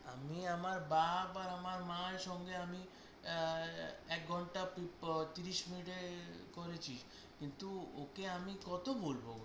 আমি আমার বাপ্ আমার মায়ের সঙ্গে আমি আহ এক ঘন্টা তিরিশ মিনিটের করেছি কিন্তু ওকে আমি কতো বলবো?